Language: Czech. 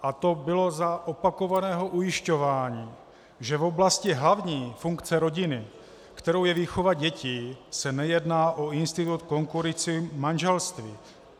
A to bylo za opakovaného ujišťování, že v oblasti hlavní funkce rodiny, kterou je výchova dětí, se nejedná o institut konkurující manželství.